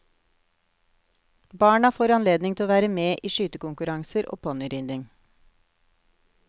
Barna får anledning til å være med i skytekonkurranser og ponnyridning.